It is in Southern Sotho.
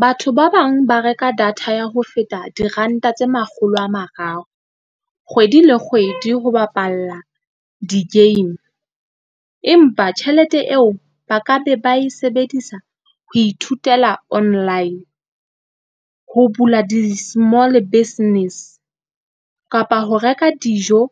Batho ba bang ba reka data ya ho feta diranta tse makgolo a mararo kgwedi le kgwedi ho bapalla di-game. Empa tjhelete eo ba ka be ba e sebedisa ho ithutela online, ho bula di-small business kapa ho reka dijo.